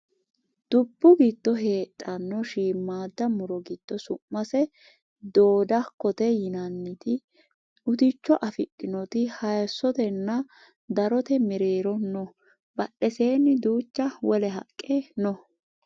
dubbu giddo heedhanno shiimmaadda muro giddo su'mase dhoodhakkote yinanniti uticho afidhinoti hayiissotenna darote mereero no badheseeni duucha wole haqqe no